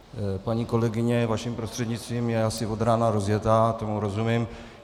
Paní kolegyně vaším prostřednictvím je asi od rána rozjetá, tomu rozumím.